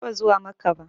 Ban taɓa zuwa Makkah ba